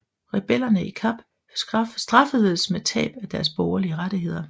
Rebellerne i Kap straffedes med tab af deres borgerlige rettigheder